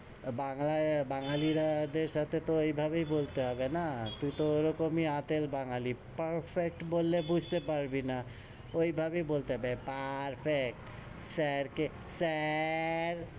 বাংলায়, বাঙ্গালীরাদের সাথে তো এভাবেই বলতে হবে না? তুই তো ওরকমই আতেল বাঙ্গালী, perfect বললে বুঝতে পারবি না, ওই ভাবেই বলতে perfect, sir কে sir,